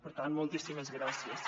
per tant moltíssimes gràcies